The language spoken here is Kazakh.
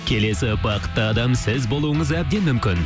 келесі бақытты адам сіз болуыңыз әбден мүмкін